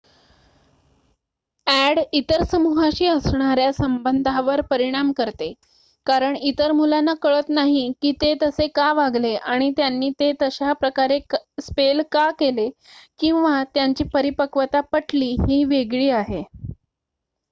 add इतर समूहाशी असणाऱ्या संबधावर परिणाम करते कारण इतर मुलांना कळत नाही की ते तसे का वागले आणि त्यांनी ते तशा प्रकारे स्पेल का केले किंवा त्यांची परिपक्वता पटली ही वेगळी आहे